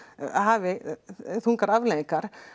hafi þungar afleiðingar